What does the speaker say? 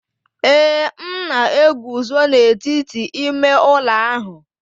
Ee, m na-eguzo n'etiti ime ụlọ ahụ.